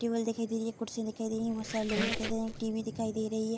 Table दिखाई दे रही है। कुर्सी दिखाई दे रही है। बोहत सारे लोग दिखाई दे रहे है। एक टी.वी. दिखाई दे रही है।